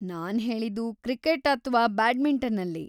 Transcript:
ನಾನ್ ಹೇಳಿದ್ದು ಕ್ರಿಕೆಟ್‌ ಅಥ್ವಾ ಬ್ಯಾಡ್ಮಿಂಟನಲ್ಲಿ.